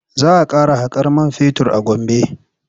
Za a fara haƙar man fetur a Gombe.